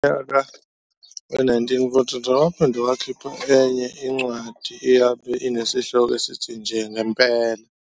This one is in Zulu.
Ngonyaka we-1943 waphinde wakhipha inye incwadi eyabe ineshloko esithi "Nje Ngempela".